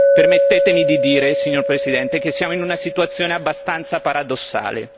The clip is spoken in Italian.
Permettetemi di dire, signor Presidente, che siamo in una situazione abbastanza paradossale.